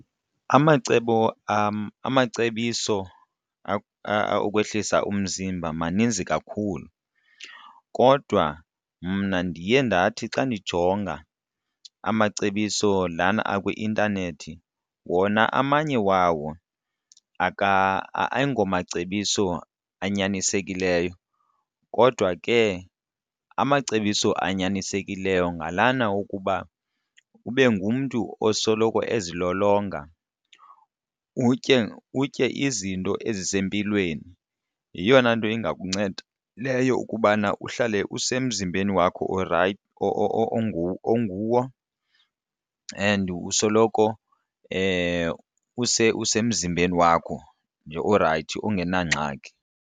Amacebo amacebiso okwehlisa umzimba maninzi kakhulu, kodwa mna ndiye ndathi xa ndijonga amacebiso lana akwi-intanethi wona amanye wawo ayingomacebiso anyanisekileyo. Kodwa ke amacebiso anyanisekileyo ngalana wokuba ube ngumntu osoloko ezilolonga utye, utye izinto ezisempilweni. Yeyona nto ingakunceda leyo ukubana uhlale usemzimbeni wakho orayithi onguwo and usoloko usemzimbeni wakho nje orayithi ungenangxaki.